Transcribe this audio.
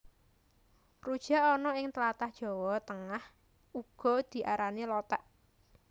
Rujak ana ing tlatah Jawa Tengah uga diarani Lothék